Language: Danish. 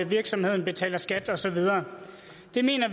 virksomheden betaler skat og så videre